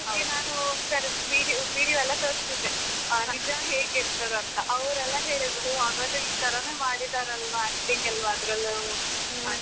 ಅವರಿಗೆ ನಾನು video video ಎಲ್ಲ ತೋರಿಸ್ತಿದ್ದೆ ನಿಜ ಹೇಗಿರ್ತದೆ ಅಂತ ಅವರೆಲ್ಲ ಹೇಳಿದ್ರು ಒಹ್ ಹಾಗಾದ್ರೆ ಈ ಥರಾನೇ ಮಾಡಿದ್ದರಲ್ವಾ acting ಅಲ್ವಾ ಅದರಲ್ಲೂ ಅಂತ.